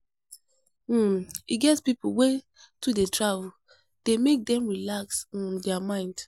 um E get pipo wey to dey travel dey make dem relax um their mind.